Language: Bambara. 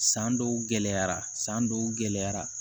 San dɔw gɛlɛyara san dɔw gɛlɛyara